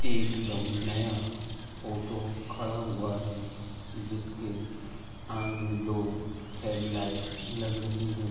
एकदम नया ऑटो खड़ा हुआ है जिसके आगे दो हेडलाइट लग रही हैं।